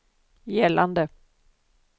gällande